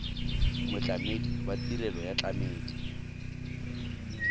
motlamedi wa tirelo ya tlamelo